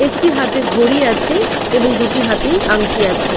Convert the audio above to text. একটি হাতে ঘড়ি আছে এবং দুটি হাতেই আংটি আছে।